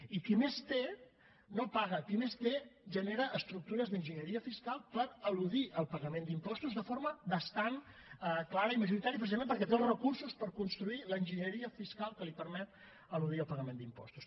i qui més té no paga qui més té genera estructures d’enginyeria fiscal per eludir el pagament d’impostos de forma bastant clara i majoritària precisament perquè té els recursos per construir l’enginyeria fiscal que li permet eludir el pagament d’impostos